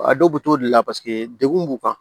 A dɔw bɛ t'o de la paseke degun b'u kan